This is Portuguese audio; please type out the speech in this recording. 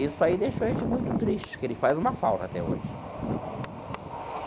Isso aí deixou a gente muito triste, que ele faz uma falta até hoje.